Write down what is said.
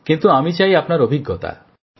কিন্তু আমি চাই আপনার অভিজ্ঞতা